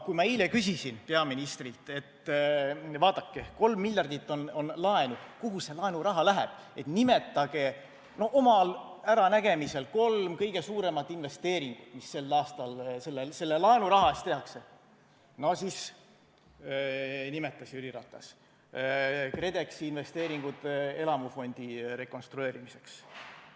Kui ma eile küsisin peaministrilt, et vaadake, 3 miljardit on laenu, kuhu see laenuraha läheb, ja palusin, et nimetage omal äranägemisel kolm kõige suuremat investeeringut, mis sel aastal selle laenuraha eest tehakse, siis nimetas Jüri Ratas KredExi investeeringud elamufondi rekonstrueerimiseks.